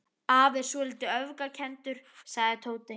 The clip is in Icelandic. Afi er svolítið öfgakenndur sagði Tóti.